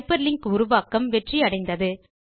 hyper link உருவாக்கம் வெற்றி அடைந்தது